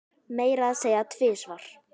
Meira að segja tvisvar